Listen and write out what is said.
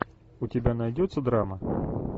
у тебя найдется драма